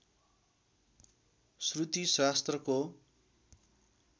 श्रुति शास्त्रको